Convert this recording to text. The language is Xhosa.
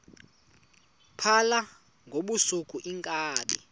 phala ngobusuku iinkabi